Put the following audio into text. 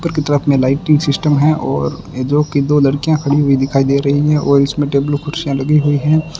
ऊपर की तरफ में लाइटिंग सिस्टम है और ये जो कि दो लड़कियां खड़ी हुई दिखाई दे रही हैं और इसमें टेबल कुर्सियां लगी हुई हैं।